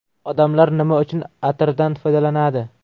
Odamlar nima uchun atirdan foydalanadi?